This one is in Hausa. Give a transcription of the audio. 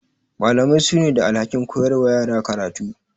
Malamai su ne da alhakin koyar wa yara karatu.